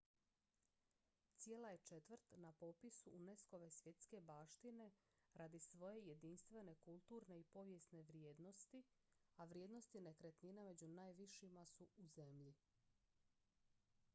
cijela je četvrt na popisu unesco-ve svjetske baštine radi svoje jedinstvene kulturne i povijesne vrijednosti a vrijednosti nekretnina među najvišima su u zemlji